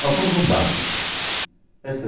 Nós somos um barco. Esse